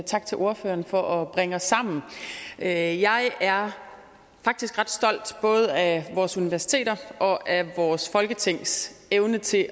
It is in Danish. tak til ordføreren for at bringe os sammen jeg jeg er faktisk ret stolt både af vores universiteters og af vores folketings evne til